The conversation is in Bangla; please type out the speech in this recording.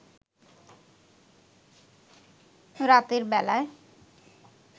রাতের বেলায়